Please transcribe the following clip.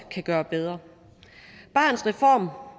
gøre bedre barnets reform